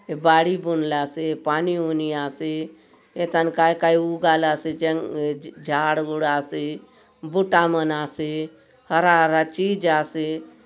ये बाड़ी बुनलासे पानी ओनी आसे ये थान काय-काय उगालासे जंग झाड़ गुड आसे बुटा मन आसे हरा-हरा चीज आसे।